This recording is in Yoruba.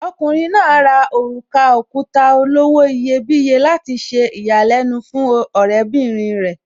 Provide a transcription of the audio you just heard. Okùnrin náà rà òrùka òkuta olówó iyebíye láti ṣe ìyàlẹ́nu fún ọ̀rẹ́bìrin rẹ̀.